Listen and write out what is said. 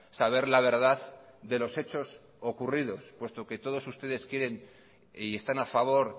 saber la verdad de los hechos ocurridos puesto que todos ustedes quieren y están a favor